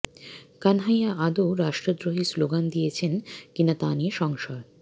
কানহাইয়া আদৌ রাষ্ট্রদ্রোহী স্লোগান দিয়েছেন কিনা তা নিয়ে সংশয়